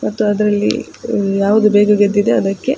ಮತ್ತು ಅದ್ರಲ್ಲಿ ಯಾವುದು ಬೇಗ ಗೆದ್ದಿದೆ ಅದಕ್ಕೆ.